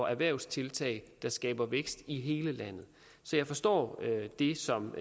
erhvervstiltag der skaber vækst i hele landet så jeg forstår det som